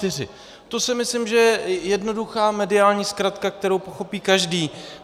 To si myslím, že je jednoduchá mediální zkratka, kterou pochopí každý.